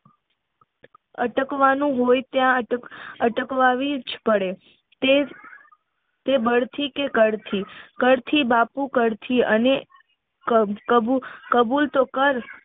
અટકવાનું હોય ત્યાં અમ અટકાવી જ પડે તે બળથી કે કળથી કળથી બાપુ કળથી અને કાબુલ તો કર